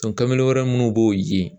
kamalen wɛrɛ minnu b'o ye